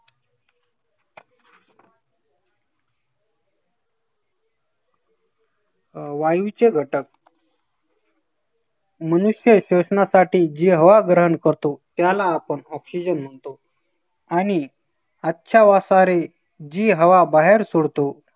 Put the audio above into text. अं वायूचे घटक मनुष्य शोषणासाठी जी हवा ग्रहण करतो, त्याला आपण oxygen म्हणतो. आणि अच्छावासारे जी हवा बाहेर सोडतो,